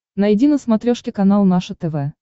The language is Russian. найди на смотрешке канал наше тв